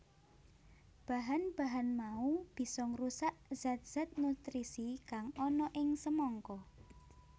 Bahan bahan mau bisa ngrusak zat zat nutrisi kang ana ing semangka